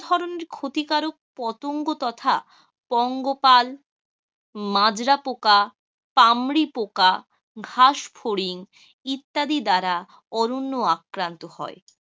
ধরণের ক্ষতিকারক পতঙ্গ তথা পঙ্গপাল, মাজরা পোকা, পামরি পোকা, ঘাস ফড়িং, ইত্যাদি দ্বারা অরণ্য আক্রান্ত হয়,